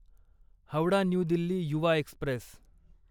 Howrah new Delhi Yuva Express